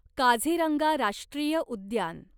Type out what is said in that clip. काझीरंगा राष्ट्रीय उद्यान